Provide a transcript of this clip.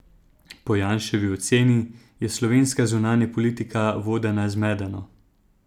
Po Janševi oceni je slovenska zunanja politika vodena zmedeno.